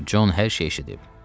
Con hər şeyi eşidib.